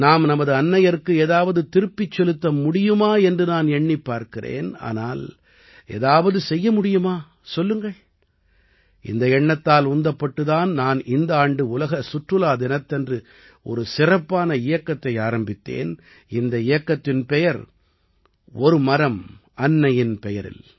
நாம் நமது அன்னையர்க்கு ஏதாவது திரும்பச் செலுத்த முடியுமா என்று நான் எண்ணிப் பார்க்கிறேன் ஆனால் ஏதாவது செய்ய முடியுமா சொல்லுங்கள் இந்த எண்ணத்தால் உந்தப்பட்டுத் தான் நான் இந்த ஆண்டு உலக சுற்றுலா தினத்தன்று ஒரு சிறப்பான இயக்கத்தை ஆரம்பித்தேன் இந்த இயக்கத்தின் பெயர் - ஒரு மரம் அன்னையின் பெயரில்